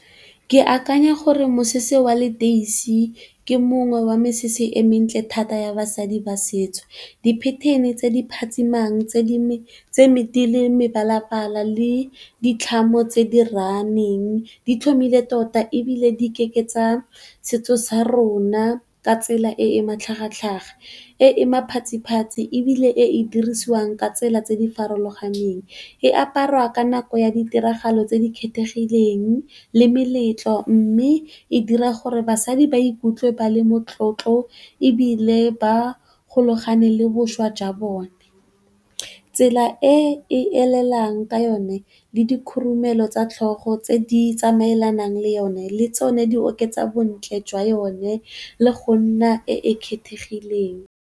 Ke akanya gore mosese wa leteisi ke mongwe wa mesese e mentle thata ya basadi ba setso. Di pattern-e tse di phatsimang tse di le mebalabala le ditlhamo tse di raneng di tlhomile tota ebile di ikeketsa setso sa rona ka tsela e e matlhagatlhaga, e e maphatsiphatsi ebile e e dirisiwang ka tsela tse di farologaneng. E aparwa ka nako ya ditiragalo tse di kgethegileng le meletlo mme e dira gore basadi ba ikutlwe ba le motlotlo ebile ba golagane le bošwa jwa bone. Tsela e e elelang ka yone le di khurumelo tsa tlhogo tse di tsamaelanang le yone, le tsone di oketsa bontle jwa yone le go nna e e kgethegileng.